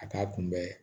A k'a kunbɛ